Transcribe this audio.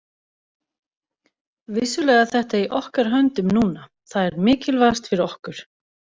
Vissulega er þetta í okkar höndum núna, það er mikilvægast fyrir okkur.